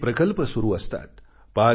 अनेक प्रकल्प सुरु असतात